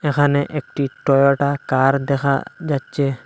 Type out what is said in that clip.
এখানে একটি Toyota car দেখা যাচ্চে।